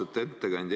Austatud ettekandja!